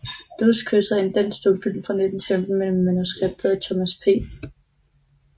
Dødskysset er en dansk stumfilm fra 1915 med manuskript af Thomas P